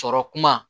Sɔrɔ kuma